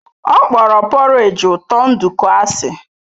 Ọ kpọrọ porridge ụtọ nduku asị.